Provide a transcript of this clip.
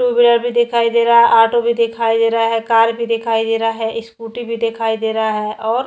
to wheeler भी दिखाई दे रहा है ऑटो भी दिखाई दे रहा है कार भी दिखाई दे रहा है स्कूटी भी दिखाई दे रहा है और--